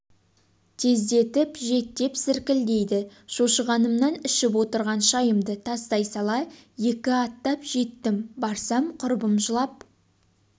тездетіп жет деп зіркілдейді шошығанымнан ішіп отырған шайымды тастай сала екі аттап жеттім барсам құрбым жылап